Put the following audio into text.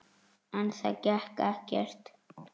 En það gekk ekkert.